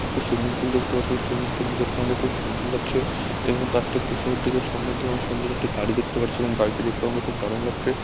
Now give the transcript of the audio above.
একটি swimming pool দেখতে পাচ্ছি সুইমিংপুল দেখতে খুব সুন্দর লাগছে এবং তার ঠিক পেছনের দিকে সামনের দিকে সুন্দর একটি বাড়ি দেখতে পারছি এবং বাড়িটি দেখতে আমাকে খুব দারুন লাগছে |